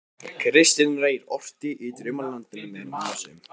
Kristinn Reyr orti í Draumalandinu meðal annars um